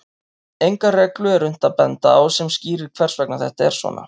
Enga reglu er unnt að benda á sem skýrir hvers vegna þetta er svona.